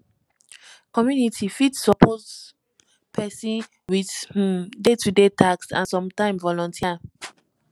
community fit support person with im day to day task and sometime volunteer